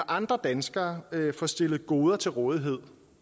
andre danskere får stillet goder til rådighed